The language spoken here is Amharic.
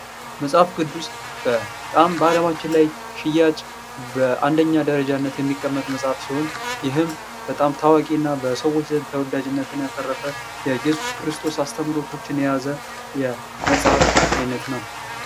መጽሐፍ ቅዱስ በጣም በአለማችን ላይ ሽያጭ በአንደኛ ደረጃነት የሚቀመጥ መጽሐፍ ሲሆን ይህም በጣም ታዋቂ እና በሰዎች ዘንድ ተወዳጅነትን ያተረፈ የኢየሱስ ክርስቶስ አስተምህሮቶችን የያዘ የመጽሐፍ አይነት ነው።